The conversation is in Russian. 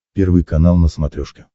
первый канал на смотрешке